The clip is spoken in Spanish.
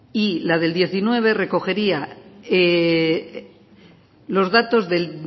y la del dos mil diecinueve recogería los datos los datos del